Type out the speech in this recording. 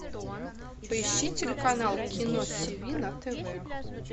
поищи телеканал кино тв на тв